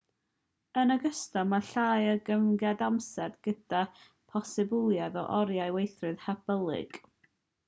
yn ogystal mae llai o gyfyngiadau amser gyda'r posibilrwydd o oriau gweithio hyblyg. bremer 1989